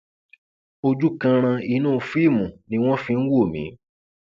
ojú kanran inú fíìmù ni wọn fi ń wò mí